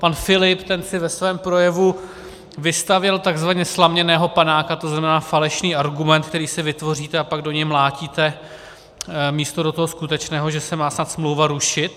Pan Filip ten si ve svém projevu vystavěl takzvaně slaměného panáka, to znamená falešný argument, který si vytvoříte, a pak do něj mlátíte místo do toho skutečného, že se má snad smlouva rušit.